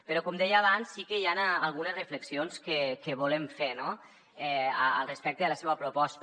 però com deia abans sí que hi han algunes reflexions que volem fer al respecte de la seua proposta